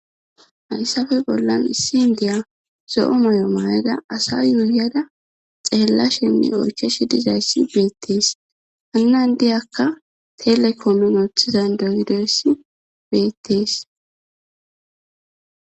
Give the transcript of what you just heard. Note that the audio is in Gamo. hayssafe bollan issi n diya zo7o moy7o maayada asa yuuyada xeella shenni oycheshi dizayssi beettees hannan diyakka telekomun ooththizan dondoyssi beettees